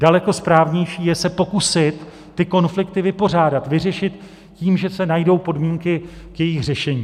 Daleko správnější je se pokusit ty konflikty vypořádat, vyřešit tím, že se najdou podmínky k jejich řešení.